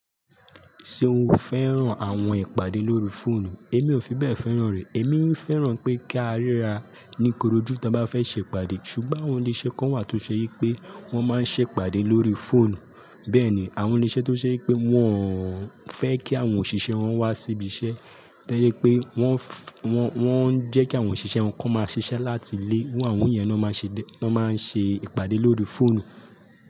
Ṣé o fẹ́ràn àwọn ìpàdé lórí fóònù? Èmi ò fi bẹ́ẹ̀ fẹ́ràn re. Èmi ń fẹ́ràn pé kí a ríra ní korojú tí a bá fẹ́ ṣe ìpàdé. Ṣùgbọ́n àwọn ilé-iṣẹ́ kan wà tó ṣe yí pé wọ́n máa ń ṣe ìpàdé lórí fóònù. Bẹ́ẹ̀ ni àwọn ilé-iṣẹ́ tó ṣe yí pé wọ́n fẹ́ kí àwọn òṣìṣẹ́ wọn wá sí ibi iṣẹ́, tó ṣe yí pé wọ́n ń jẹ́ kí àwọn òṣìṣẹ́ wọn kó máa ṣiṣẹ́ láti ilé. Iru àwọn yẹn ló máa ń ṣe ìpàdé lórí fóònù.